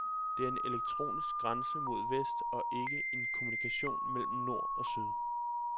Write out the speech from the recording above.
Det er en elektronisk grænse mod vest og ikke en kommunikation mellem nord og syd.